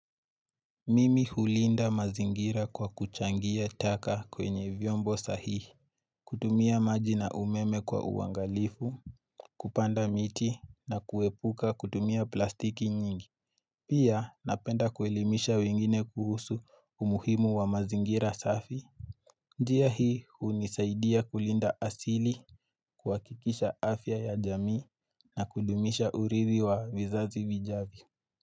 Mimi hulinda mazingira kwa kuchangia taka kwenye vyombo sahihi kutumia maji na umeme kwa uwangalifu Kupanda miti na kuepuka kutumia plastiki nyingi Pia napenda kuelimisha wengine kuhusu umuhimu wa mazingira safi njia hii unisaidia kulinda asili kuwakikisha afya ya jamii na kudumisha uridhi wa vizazi vijavyo.